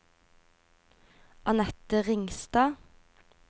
Anette Ringstad